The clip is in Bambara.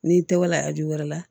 N'i tɛ wala arajo wɛrɛ la